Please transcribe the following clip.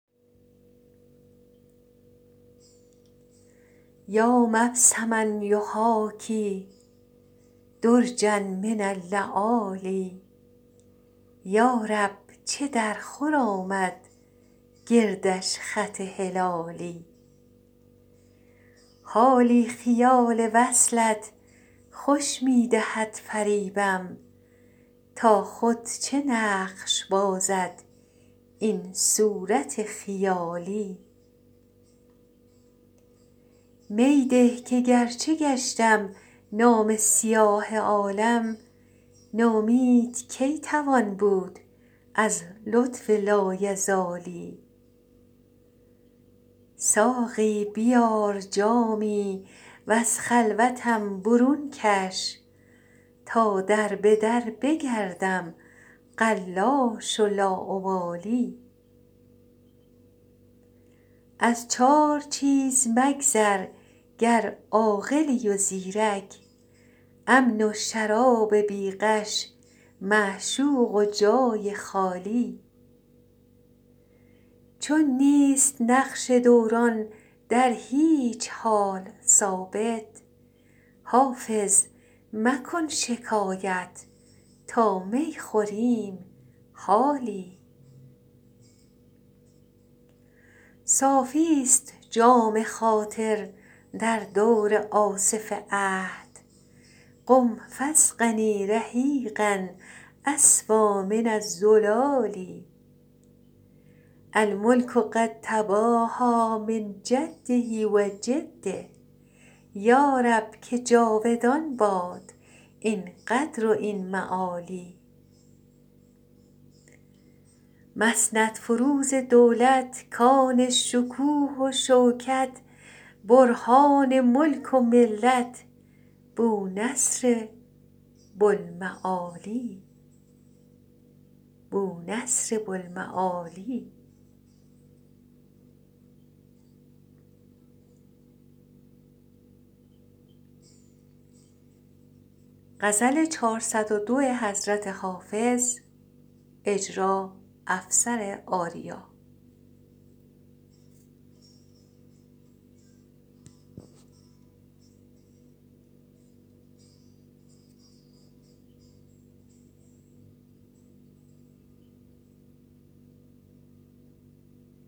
یا مبسما یحاکی درجا من اللآلی یا رب چه درخور آمد گردش خط هلالی حالی خیال وصلت خوش می دهد فریبم تا خود چه نقش بازد این صورت خیالی می ده که گرچه گشتم نامه سیاه عالم نومید کی توان بود از لطف لایزالی ساقی بیار جامی و از خلوتم برون کش تا در به در بگردم قلاش و لاابالی از چار چیز مگذر گر عاقلی و زیرک امن و شراب بی غش معشوق و جای خالی چون نیست نقش دوران در هیچ حال ثابت حافظ مکن شکایت تا می خوریم حالی صافیست جام خاطر در دور آصف عهد قم فاسقني رحیقا أصفیٰ من الزلال الملک قد تباهیٰ من جده و جده یا رب که جاودان باد این قدر و این معالی مسندفروز دولت کان شکوه و شوکت برهان ملک و ملت بونصر بوالمعالی